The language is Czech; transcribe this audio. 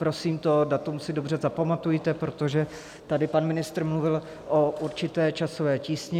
Prosím, to datum si dobře zapamatujte, protože tady pan ministr mluvil o určité časové tísni.